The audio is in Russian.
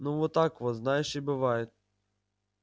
ну вот так вот знаешь и бывает